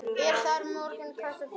Er þar með kvótinn búinn?